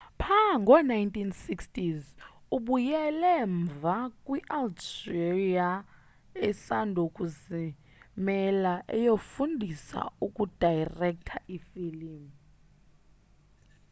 pha ngo 1960s ubuyele mva kwi algeria esandokuzimela eyofundisa ukudayirektha ifilim